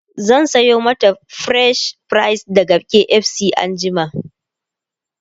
zan Sayo mata french fries daga KFC anjima